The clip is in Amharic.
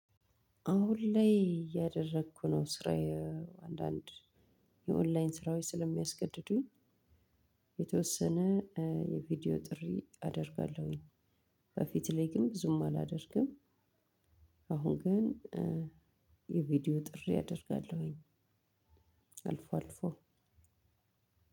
አሁን ላይ እያደረኩ ነው ስራዬ አንዳንድ የኦንላይን ስራዬ ስለሚያስገድዱኝ የተወሰነ የ ቪዲዮ ጥሪ አደርጋለሁ። በፊት ላይ ግን ብዙም አላደርግም። አሁን ግን የቪዲዮ ጥሪ አደርጋለሁኝ። አልፎ አልፎ